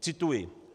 Cituji.